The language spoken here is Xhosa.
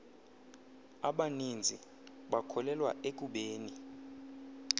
abaninzi bakholelwa ekubeni